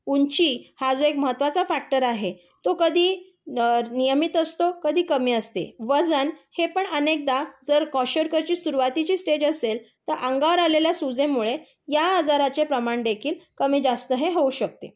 ऊंची हा जो महत्वाचा फ्याक्टर आहे, तो कधी नियमित असतो कधी कमी असते. वजन हे पण अनेकदा क्वोशरकरची सुरुवातीची स्टेज असेल तर अंगावर आलेल्या सुजेमुळे या आजाराचे प्रमाण हे देखील कमी जास्त होऊ शकते.